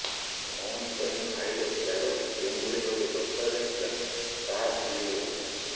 ଭଉଣୀ ପାଇଁ ଭାଇର ତ୍ୟାଗକୁ ଯେଉଁଭଳି ଭାବେ ଦର୍ଶାଯାଇଥିଲା ତାହା ଭୁଲି ହେବ ନାହିଁ